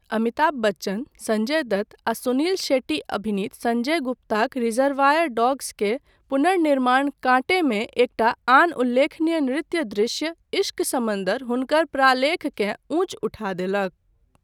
अमिताभ बच्चन, सञ्जय दत्त आ सुनील शेट्टी अभिनीत सञ्जय गुप्ताक 'रिजर्वायर डॉग्स'क पुनर्निर्माण 'कांटे' मे एकटा आन उल्लेखनीय नृत्य दृश्य 'इश्क समुन्दर' हुनकर प्रालेखकेँ ऊँच उठा देलक।